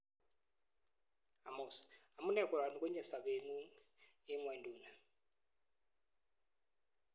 Hormuz:amunee koroni konyei sopet ng'ung eng ng'wenduni